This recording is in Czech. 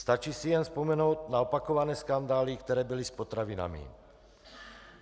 Stačí si jen vzpomenout na opakované skandály, které byly s potravinami.